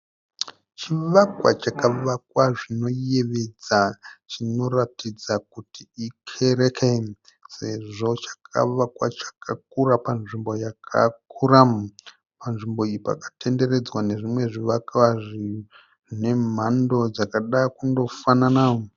Chivakwa chakavakwa zvinoyevedza chinoratidza kuti ikereke sezvo chakavakwa chakakura panzvimbo yakakura. Panzvimbo iyi pakatenderedzwa nezvimwe zvivakwa zvine mhando dzakada kundofanana.